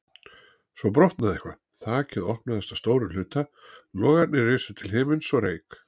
Svo brotnaði eitthvað, þakið opnaðist að stórum hluta, logarnir risu til himins og reyk